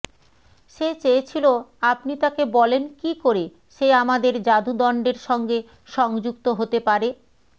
সে চেয়েছিল আপনি তাকে বলেন কী করে সে আমাদের যাদুদণ্ডের সঙ্গে সংযুক্ত হতে পারে